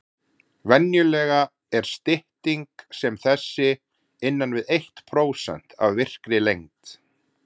Venjulega er stytting sem þessi innan við eitt prósent af virkri lengd.